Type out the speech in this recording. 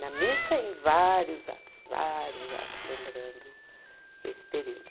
Na missa, em vários atos, vários atos, lembrando esse período.